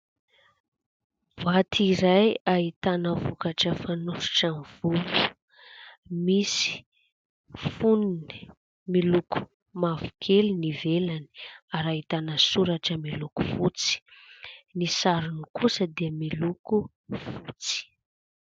Boaty iray: ahitana vokatra fanosotra amin'ny volo misy fonony miloko mavokely ny ivelany ary ahitana soratra miloko fotsy, ny sarony kosa dia miloko fotsy.